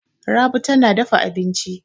Rabi tana dafa abinci.